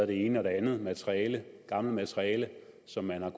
det ene og det andet materiale gammelt materiale som man har